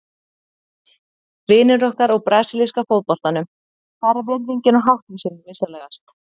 Vinir okkar úr brasilíska fótboltanum, hvar er virðingin og háttvísin, vinsamlegast?